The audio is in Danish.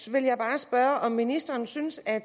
vil bare spørge om ministeren synes at